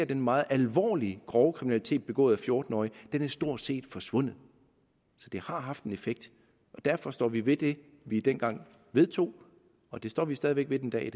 den meget alvorlige grove kriminalitet begået af fjorten årige stort set er forsvundet så det har haft en effekt og derfor står vi ved det vi dengang vedtog og det står vi stadig væk ved den dag